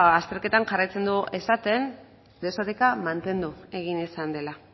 azterketak jarraitzen du esaten desoreka mantendu egin izan dela